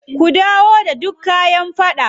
Ku dawo da dukka kayan faɗan.